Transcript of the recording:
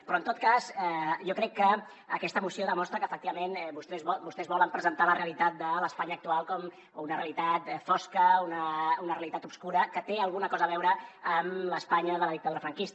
però en tot cas jo crec que aquesta moció demostra que efectivament vostès volen presentar la realitat de l’espanya actual com una realitat fosca una realitat obscura que té alguna cosa a veure amb l’espanya de la dictadura franquista